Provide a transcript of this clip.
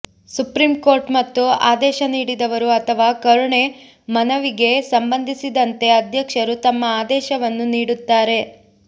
supreme court ಮತ್ತು ಆದೇಶ ನೀಡಿದವರು ಅಥವಾ ಕರುಣೆ ಮನವಿಗೆ ಸಂಬಂಧಿಸಿದಂತೆ ಅಧ್ಯಕ್ಷರು ತಮ್ಮ ಆದೇಶವನ್ನು ನೀಡುತ್ತಾರೆ